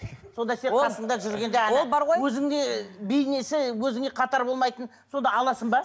сонда сен қасыңда жүргенде ана ол бар ғой өзіңде бейнесі өзіңмен қатар болмайтын сонда аласың ба